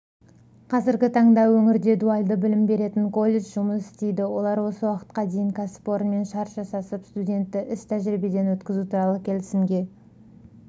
қазіргі таңда өңірде дуальды білім беретін колледж жұмыс істейді олар осы уақытқа дейін кәсіпорынмен шарт жасасып студентті іс-тәжірибеден өткізу туралы келісімге